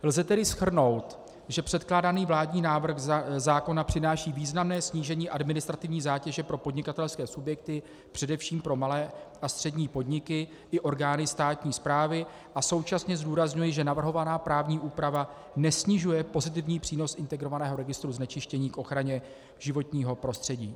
Lze tedy shrnout, že předkládaný vládní návrh zákona přináší významné snížení administrativní zátěže pro podnikatelské subjekty, především pro malé a střední podniky i orgány státní správy, a současně zdůrazňuji, že navrhovaná právní úprava nesnižuje pozitivní přínos integrovaného registru znečištění k ochraně životního prostředí.